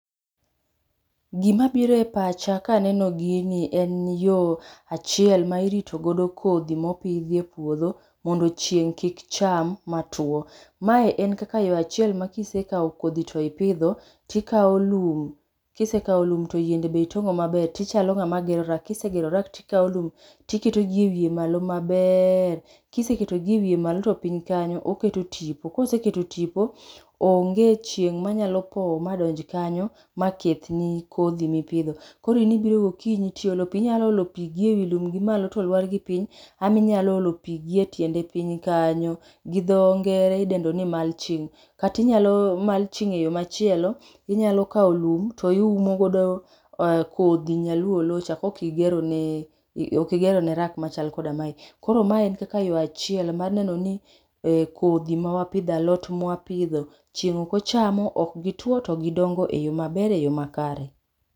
Gimabiro e pacha kaneno gini en yo achiel ma irito godo kodhi mopidhi e puodho mondo chieng' kik cham matuwo. Mae en kaka yo achiel ma kisekawo kodhi to ipidho, tikawo lum ,kisekawo lum to yiende be itong'o maber, tichalo ng'ama gero rack, kisegero rack tikawo lum tiketogi e wiye malo maber. Kiseketogi e wiye malo to piny kanyo oketo tipo, koseketo tipo, onge chieng' manyalo powo madonji kanyo ma kethni kodhi mipidho. Koro in ibiro gokinyi tiolo pi. Inyalo olo pi gi ewi ndo gimalo to lwar piny, ama inyalo olo pi gi e tiende piny kanyo gi dho ngere idendo ni mulching. Kata inyalo mulching e yo machielo, inyalo kawo lum to iumo godo kodhi nyaluo oloocha kokigerone rack machal koda mae. Koro mae en kaka yo achiel mar neno ni kodhi mawapidho alot mwapidho, chieng' ok ochamo, ok gituwo to gidongo e yo maber e yo makare.